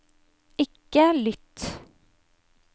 ikke lytt